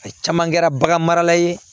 A caman kɛra bagan marala ye